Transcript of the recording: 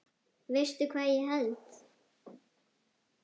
Veistu hvað ég held?